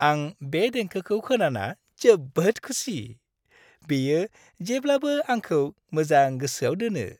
आं बे देंखोखौ खोनाना जोबोद खुसि। बेयो जेब्लाबो आंखौ मोजां गोसोआव दोनो।